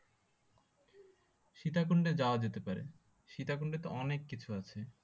সীতাকুণ্ডে যাওয়া যেতে পারে সীতাকুণ্ডে তো অনেক কিছু আছে